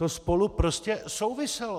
To spolu prostě souviselo.